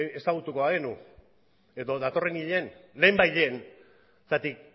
ezagutuko bagenu edo datorren hilean lehenbailehen zergatik